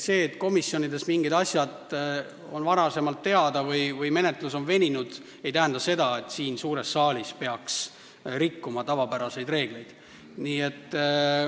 See, et komisjonis olid mingid asjad varem teada või menetlus on veninud, ei tähenda seda, et siin suures saalis peaks rikkuma tavapäraseid reegleid.